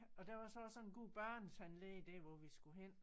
Og der var så også sådan en god børnetandlæge der hvor vi skulle hen